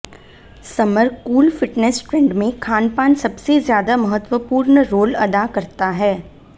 summer cool fitness trend में खानपान सबसे ज्यादा महत्वपूर्ण रोल अदा करता है